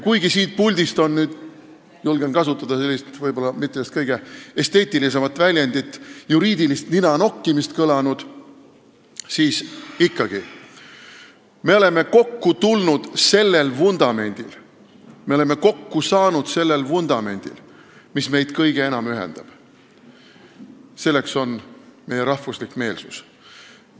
Kuigi siit puldist on kõlanud – julgen kasutada sellist võib-olla mitte kõige esteetilisemat väljendit – juriidilist ninanokkimist, siis ikkagi, me oleme kokku tulnud ja kokku saanud sellel vundamendil, mis meid kõige enam ühendab: meie rahvuslik meelsus.